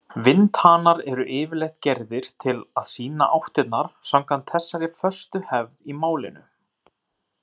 Vindhanar eru yfirleitt gerðir til að sýna áttirnar samkvæmt þessari föstu hefð í málinu.